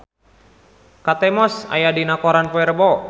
Kate Moss aya dina koran poe Rebo